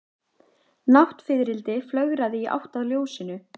Náttfiðrildi flögraði í átt að ljósinu.